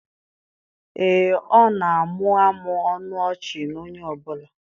Ee, ọ na-amụmụ ọnụ ọchị na onye ọ bụla